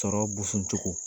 Sɔrɔ boson cogo.